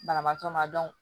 Banabaatɔ ma